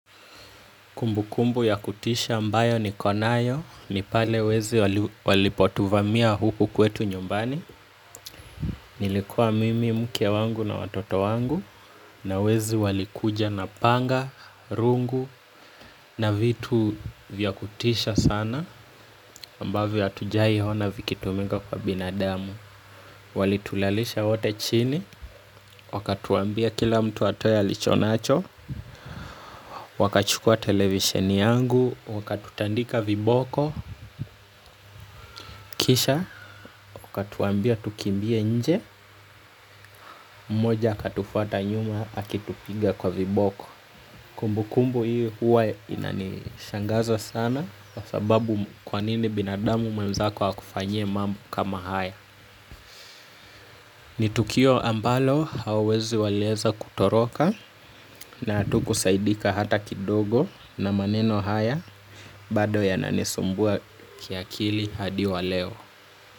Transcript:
Kumbu kumbu ya kutisha ambayo niko nayo ni pale ambapo wezi walituvamia nyumbani. Nilikuwa mimi, mke wangu na watoto wangu, na wezi walikuja na panga, rungu, na vitu vyakutisha sana, ambavyo hatujawahi ziona vikitumika kwa binadamu. Walitulalisha wote chini, wakatuambia kila mtu atoe alicho nacho, wakachukua televisheni yangu na wakatutandika viboko, kisha, wakatuambia tukimbie nje, mmoja akatufuata nyuma akitupiga kwa viboko. Kumbu kumbu hiyo huwa inanishangaza sana kwa sababu kwa nini binadamu mwenzako akufanyie mambo kama haya. Ni tukio ambalo hauwezi waeleza kutoroka, na hatukusaidika hata kidogo na maneno haya, bado yananisumbua kiakili hadi waleo.